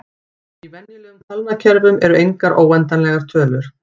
Í venjulegum talnakerfum eru engar óendanlegar tölur.